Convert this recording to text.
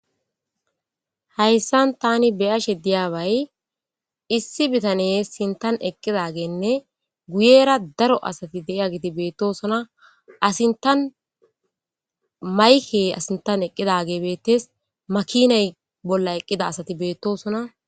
Hayssan tani beyashe diyaabay issi bitane sintan eqqidagenne guyera daro asati deiya giti beettosona asintan mayke asintan eqqidage beettes makiney bolla eqqida asati beettosona.